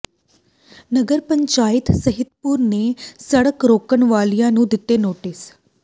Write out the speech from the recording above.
ਨਗਰ ਪੰਚਾਇਤ ਮਹਿਤਪੁਰ ਨੇ ਸੜਕ ਰੋਕਣ ਵਾਲਿਆਂ ਨੂੰ ਦਿੱਤੇ ਨੋਟਿਸ